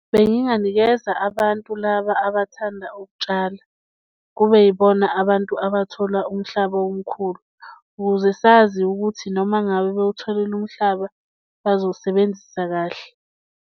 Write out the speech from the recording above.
Benginganikeza abantu laba abathanda ukutshala kube yibona abantu abathola umhlaba omkhulu ukuze sazi ukuthi noma ngabe bewutholile umhlaba, bazowusebenzisa kahle.